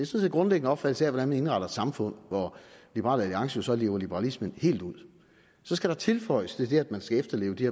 set en grundlæggende opfattelse af hvordan vi indretter et samfund hvor liberal alliance jo så lever liberalismen helt ud så skal der tilføjes til det at man skal efterleve de